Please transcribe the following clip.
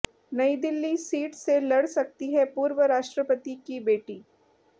नई दिल्ली सीट से लड़ सकती हैं पूर्व राष्ट्रपति की बेटी